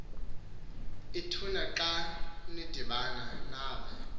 ituna uxudibana nave